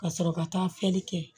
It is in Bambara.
Ka sɔrɔ ka taa filɛli kɛ